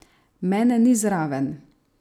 Mene ni zraven?